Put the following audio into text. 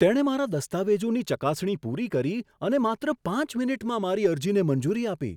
તેણે મારા દસ્તાવેજોની ચકાસણી પૂરી કરી અને માત્ર પાંચ મિનિટમાં મારી અરજીને મંજૂરી આપી!